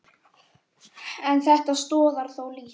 En þetta stoðar þó lítt.